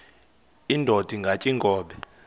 indod ingaty iinkobe